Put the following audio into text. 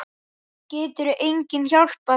Getur enginn hjálpað þér?